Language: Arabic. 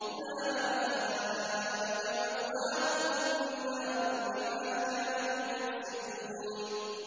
أُولَٰئِكَ مَأْوَاهُمُ النَّارُ بِمَا كَانُوا يَكْسِبُونَ